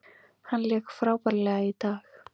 Hann lék frábærlega í dag.